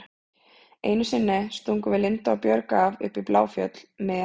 Einu sinni stungum við Linda og Björg af upp í Bláfjöll með